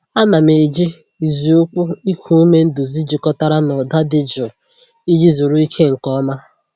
Ana m eji ịzụ ụkwụ iku ume nduzi jikọtara na ụda dị jụụ iji zuru ike nke ọma.